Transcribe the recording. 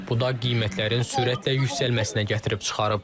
Bu da qiymətlərin sürətlə yüksəlməsinə gətirib çıxarıb.